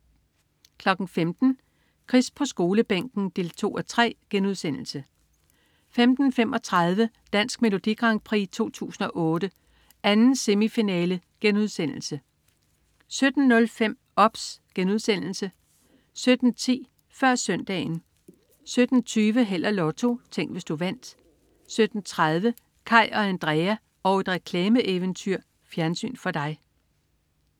15.00 Chris på Skolebænken 2:3* 15.35 Dansk Melodi Grand Prix 2008. 2. semifinale* 17.05 OBS* 17.10 Før Søndagen 17.20 Held og Lotto. Tænk, hvis du vandt 17.30 Kaj og Andrea og et reklameeventyr. Fjernsyn for dig